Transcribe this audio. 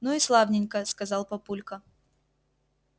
ну и славненько сказал папулька